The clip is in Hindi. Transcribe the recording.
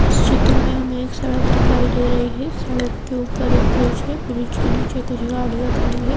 इस चित्र में हमे एक सड़क दिखाई दे रही है सड़क के ऊपर एक ब्रिज है ब्रिज के नीचे कुछ गाड़ियां खड़ी है।